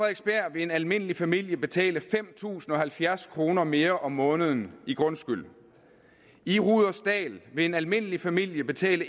vil en almindelig familie betale fem tusind og halvfjerds kroner mere om måneden i grundskyld i rudersdal vil en almindelig familie betale